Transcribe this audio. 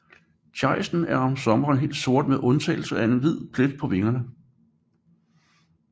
Tejsten er om sommeren helt sort med undtagelse af en stor hvid plet på vingerne